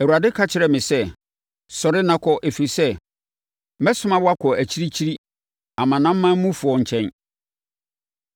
“Awurade ka kyerɛɛ me sɛ, ‘Sɔre na kɔ, ɛfiri sɛ, mɛsoma wo akɔ akyirikyiri, amanamanmufoɔ nkyɛn!’ ”